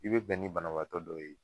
I be bɛn ni banabaatɔ dɔw ye